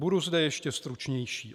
Budu zde ještě stručnější.